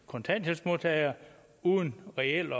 kontanthjælpsmodtagere uden reelt